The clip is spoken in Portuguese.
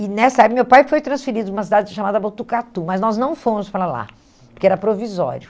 E nessa época, meu pai foi transferido para uma cidade chamada Botucatu, mas nós não fomos para lá, porque era provisório.